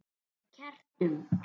Með kertum?